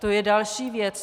To je další věc.